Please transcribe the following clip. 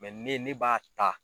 ne ne b'a ta